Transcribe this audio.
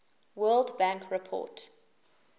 world bank report